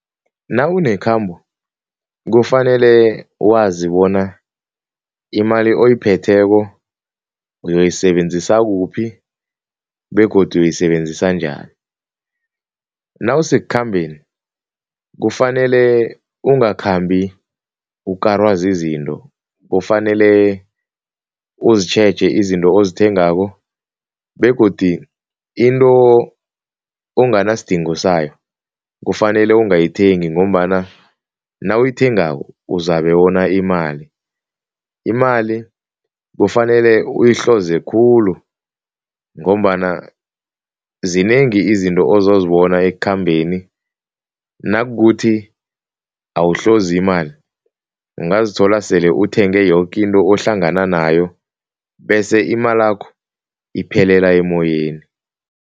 Nawu nekhambo kufanele wazi bona imali oyiphetheko uyoyisebenzisa kuphi begodu uyoyisebenzisa njani. Nawusekukhambeni, kufanele ukungakhambi ukarwa zizinto, kufanele uzitjheje izinto ozithengako begodi into onganasidingo, kufanele ungayithengi ngombana nawuyithengako uzabe wona imali. Imali kufanele uyihloze khulu ngombana zinengi izinto ozozibona ekukhambeni nakukuthi awuhlozi imali, ungazithola sele uthenge yoke into ohlangana nayo bese imalakho iphelela emoyeni.